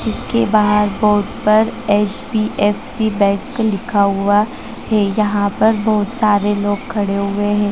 जिसके बाहर बोर्ड पर एचडीएफसी बैंक लिखा हुआ है। यहां पर बहुत सारे लोग खड़े हुए हैं।